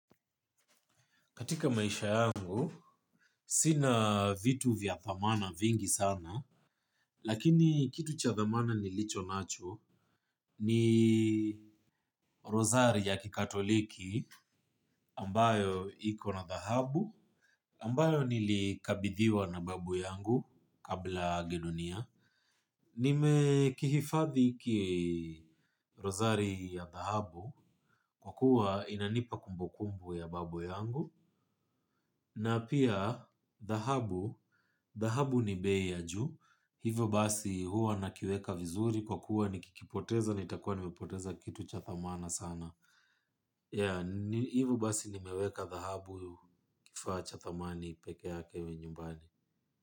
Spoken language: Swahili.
Katika maisha yangu sina vitu vya dhamani vingi sana lakini kitu cha dhamani nilicho nacho ni rozari ya kikatoliki ambayo iko na thahabu, ambayo nilikabidhiwa na babu yangu kabla aage dunia. Nime kihifadhi ki rozari ya dhahabu kwa kuwa inanipa kumbukumbu ya babu yangu na pia dahahabu, dhahabu ni bei ya ju. Hivyo basi huwa nakiweka vizuri kwa kuwa nikikipoteza nitakua nipoteza kitu cha thamana sana. Hivyo basi nimeweka dhahabu kifaa cha thamani peke yake yumbani.